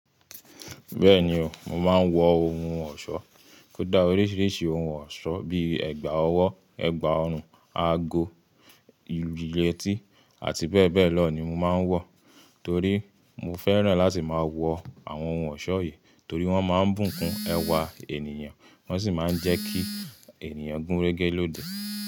Bẹ́ẹ̀ni o, mo máa ń wọ ohun ọ̀ṣọ́. Ó dá oríṣiríṣi ohun ọ̀ṣọ́ bíi ẹ̀gbà ọwọ́, ẹ̀gbà ọrùn, ago, ìletì àti bẹ́ẹ̀ bẹ́ẹ̀ lọ ni mo máa ń wọ torí mo fẹ́ràn láti máa wọ àwọn ohun ọ̀ṣọ́ yìí torí wọ́n máa ń bùkún ẹwa ènìyàn, wọ́n sì máa ń jẹ́ kí ènìyàn gúnrégé lójú.